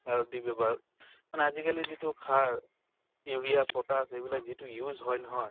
দি ব্য়ৱহাৰ মানে আজি কালি যিটো সাৰ ইউৰিয়া পতাচ এইবিলাক যিটো use হয় নহয়